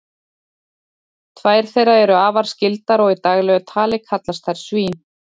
tvær þeirra eru afar skyldar og í daglegu tali kallast þær svín